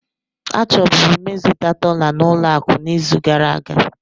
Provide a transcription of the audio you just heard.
Achọburu m ịzụta dollar na ụlọ akụ n'izu gara aga.